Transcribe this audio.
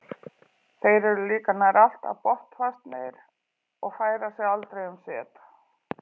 Þeir eru líka nær alltaf botnfastir og færa sig aldrei um set.